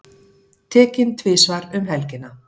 Tekinn tvisvar um helgina